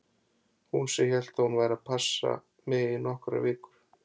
Hún sem hélt að hún væri bara að passa mig í nokkrar vikur!